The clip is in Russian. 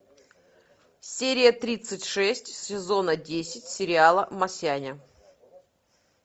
серия тридцать шесть сезона десять сериала масяня